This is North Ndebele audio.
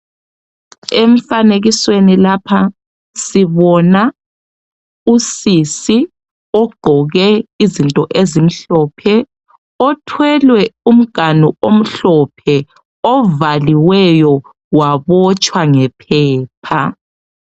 Emfanekisweni lapha sibona usisi ugqoke izinto ezimhlophe, othwelwe umganu omhlophe ovaliweyo wabotshwa ngephepha.